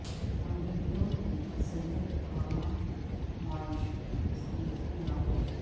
امریکیوں کی اکثریت اوباما کی معاشی پالیسیوں سے ناخوش